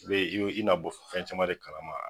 I bɛ i yo i na bɔ fɛn caman de kalama.